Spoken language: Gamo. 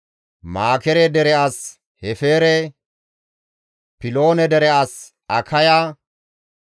Makeere dere as Hefeere, Piloone dere as Akaya,